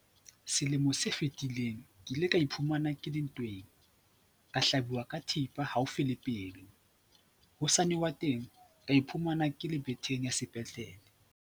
Selemo se fetileng ke ile ka iphumana ke le ntweng, ka hlabuwa ka thepa haufi le pelo hosane wa teng, ka iphumana ke le betheng ya sepetlele.